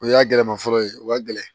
O y'a gɛlɛma fɔlɔ ye o ka gɛlɛn